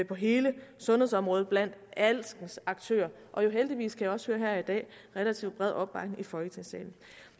på hele sundhedsområdet blandt alskens aktører og heldigvis kan jeg også høre her i dag relativt bred opbakning i folketingssalen